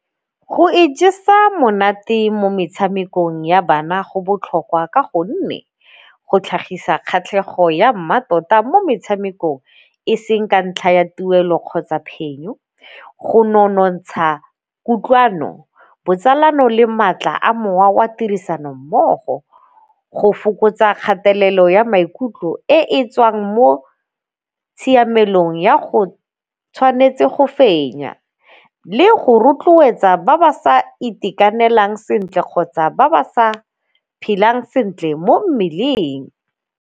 Go ijesa monate mo metshamekong ya bana go botlhokwa ka gonne go tlhagisa kgatlhego ya mmatota mo metshamekong e seng ka ntlha ya tuelo kgotsa phenyo, go nonotsha kutlwano botsalano le maatla a mowa wa tirisano mmogo, go fokotsa kgatelelo ya maikutlo e tswang mo tshiamelong ya go tshwanetse go fenya le go rotloetsa ba ba sa itekanelang sentle kgotsa ba ba sa phelang sentle mo mmeleng.